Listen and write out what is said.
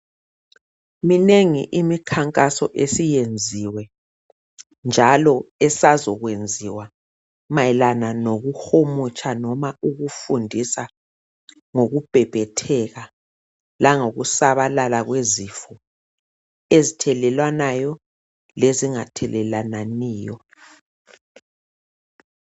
Minengi imikhankaso esiyenziwe njalo esazokwenziwa mayelana lokuhumutsha noma ukufundisa ngokubhebhetheka langokusabalala kwesifo ezithelelwanayo lezingathelelananiyo.